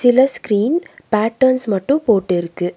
இதுல screen patterns மட்டும் போட்டு இருக்கு.